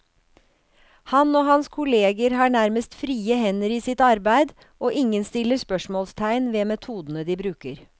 Han og hans kolleger har nærmest frie hender i sitt arbeid, og ingen stiller spørsmålstegn ved metodene de bruker.